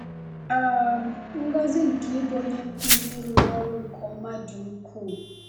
um Ngọzi nke ịbụ onye nkuzi rụrụ ọrụ nke ọma dị ukwuu.